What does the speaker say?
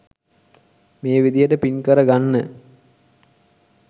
මේ විදිහට පින් කර ගන්න